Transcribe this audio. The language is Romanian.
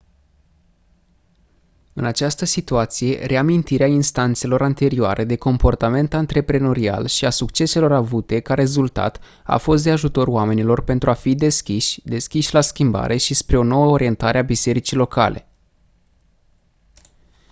în această situați reamintirea instanțelor anterioare de comportament antreprenorial și a succeselor avute ca rezultat a fost de ajutor oamenilor pentru a fi deschiși deschiși la schimbare și spre o nouă orientare a bisericii locale